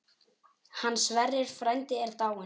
Hann Sverrir frændi er dáinn.